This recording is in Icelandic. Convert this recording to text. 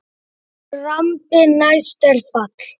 Drambi næst er fall.